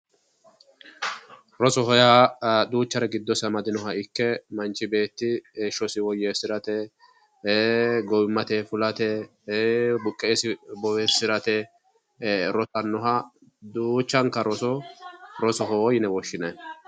rosoho yaa gidosi lowore amadinoha ikke manch beetti heeshosi woyeesirate gowimate fulate buqqeesi bowirsirate rosanoha duuchanka roso rosohoo yine woshinaye